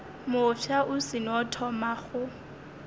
mofsa o seno thoma go